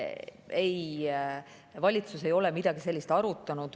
Ei, valitsus ei ole midagi sellist arutanud.